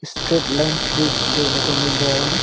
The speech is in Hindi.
स्ट्रैट लाइन्स भी देखने को मिल रहा है।